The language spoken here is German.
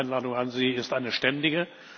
Also Die Einladung an Sie ist eine ständige.